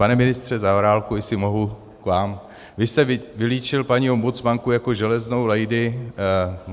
Pane ministře Zaorálku, jestli mohu k vám, vy jste vylíčil paní ombudsmanku jako železnou lady.